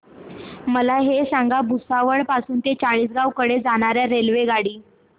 मला हे सांगा भुसावळ पासून चाळीसगाव कडे जाणार्या रेल्वेगाडी